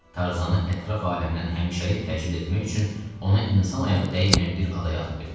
Tarzanı ətraf aləmdən həmişəlik təcrid etmək üçün ona insan ayağı dəyməyən bir adaya atıb getmişdi.